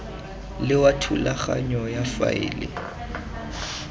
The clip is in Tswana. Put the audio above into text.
le wa thulaganyo ya faele